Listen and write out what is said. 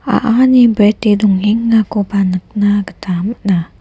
a·ani brete dongengakoba nikna gita man·a.